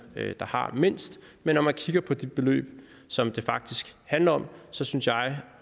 der har mindst men når man kigger på de beløb som det faktisk handler om så synes jeg